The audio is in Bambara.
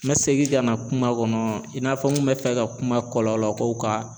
N bɛ segin ka na kuma kɔnɔ i n'a fɔ n kun bɛ fɛ ka kuma kɔlɔlɔkow kan